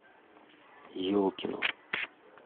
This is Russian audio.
елкину